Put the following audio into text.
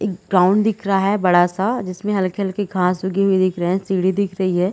एक ग्राउंड दिख रहा है बड़ा सा जिसमे हल्की-हल्की घास उगी हुई दिख रहे है सीढ़ी दिख रही है।